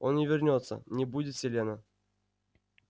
он не вернётся не будет селена